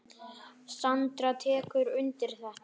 Sandra tekur undir þetta.